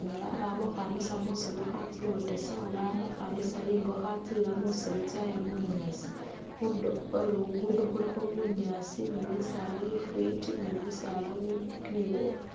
inyala aba ama khutsyamisa musiiru khatsilotesa oba ama khwamisa ingo khatsiyila musiiru tsyaaye bunyaasi. Khundulo khwe Luguudo khulikho bunyaasi ni bisaala bifwiti ni kimisaala kimiboofu.